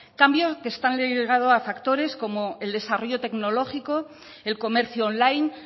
cambios que están ligados a factores como el desarrollo tecnológico el comercio online